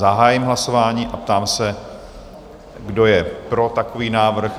Zahájím hlasování a ptám se, kdo je pro takový návrh?